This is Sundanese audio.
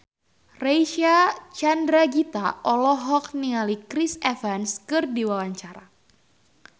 Reysa Chandragitta olohok ningali Chris Evans keur diwawancara